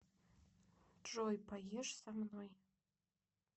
джой поешь со мной